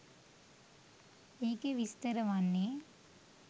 ඒකෙ විස්තර වන්නේ